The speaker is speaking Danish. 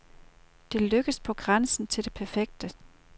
Det lykkedes på grænsen til det perfekte.